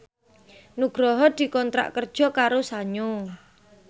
Nugroho dikontrak kerja karo Sanyo